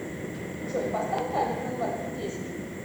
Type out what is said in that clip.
джой поставь таймер на двадцать десять